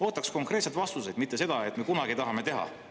Ootaks konkreetseid vastuseid, mitte seda, et "me kunagi tahame teha".